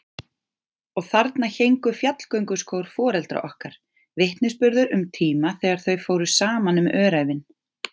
Og þarna héngu fjallgönguskór foreldra okkar, vitnisburður um tíma þegar þau fóru saman um öræfin.